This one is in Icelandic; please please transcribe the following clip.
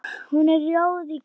Hún er rjóð í kinnum.